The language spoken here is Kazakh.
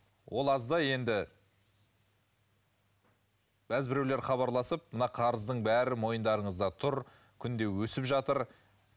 ол аздай енді бәзбіреулер хабарласып мына қарыздың бәрі мойындарыңызда тұр күнде өсіп жатыр